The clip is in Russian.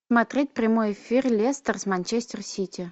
смотреть прямой эфир лестер с манчестер сити